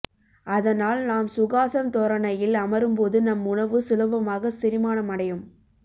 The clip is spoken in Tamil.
அதனால் நாம் சுகாசன் தோரணையில் அமரும் போது நம் உணவு சுலபமாக செரிமானமடையும்